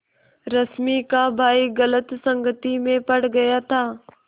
रश्मि का भाई गलत संगति में पड़ गया था